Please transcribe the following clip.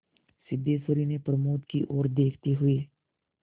सिद्धेश्वरी ने प्रमोद की ओर देखते हुए